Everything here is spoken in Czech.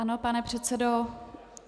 Ano, pane předsedo.